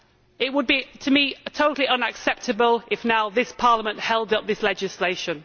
It would, to me, be totally unacceptable if now this Parliament held up this legislation.